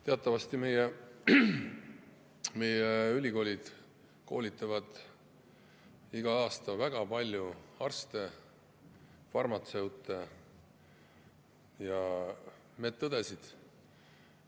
Teatavasti koolitavad meie ülikoolid igal aastal väga palju arste, farmatseute ja medõdesid.